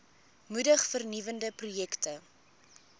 moedig vernuwende projekte